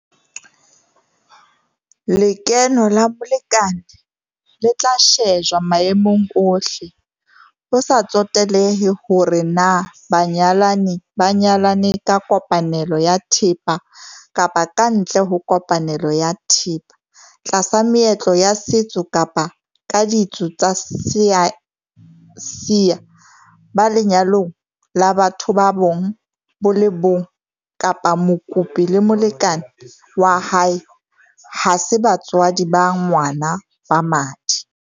Lekeno la molekane le tla shejwa maemong ohle - ho sa tsotelehe hore na banyalani ba nyalane ka kopanelo ya thepa kapa kantle ho kopanelo ya thepa, tlasa meetlo ya setso kapa ka ditso tsa Seasia, ba lenyalong la batho ba bong bo le bong kapa mokopi le molekane wa hae ha se batswadi ba ngwana ba madi.